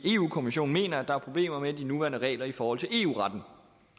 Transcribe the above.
kommissionen mener at der er problemer med de nuværende regler i forhold til eu retten